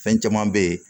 Fɛn caman be ye